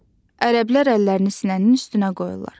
Ərəblər əllərini sinənin üstünə qoyurlar.